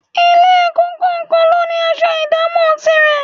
Ilé-ẹ̀kọ́ kọ̀ọ̀kan ló ní aṣọ ìdámọ̀ tirẹ̀